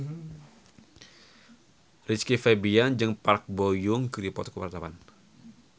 Rizky Febian jeung Park Bo Yung keur dipoto ku wartawan